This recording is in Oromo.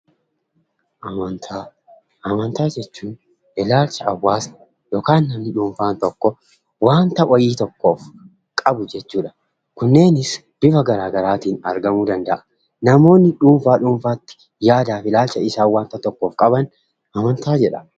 Amantaa jechuun ilaalcha namni dhuunfaan tokko yookiin immoo hawwaasni tokko dhaabbata tokkoof qabuu dha. Namoonni tokkoon tokkon isaanitti ilaalcha isaan wanta tokkoof qaban ilaalcha jedhama.